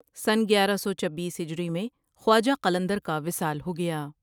سنہ گیارہ سو چبیس ہجری میں خواجہ قلندر کا وصال ہو گیا ۔